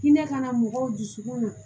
Hinɛ ka na mɔgɔw dusukun na